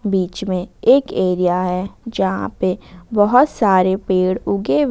बीच में एक एरिया है जहां पे बहोत सारे पेड़ उगे हुए--